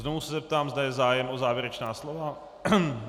Znovu se zeptám, zda je zájem o závěrečná slova.